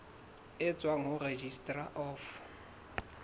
e tswang ho registrar of